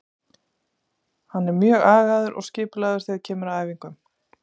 Hann er mjög agaður og skipulagður þegar kemur að æfingum.